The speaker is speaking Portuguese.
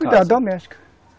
Cuida, doméstica.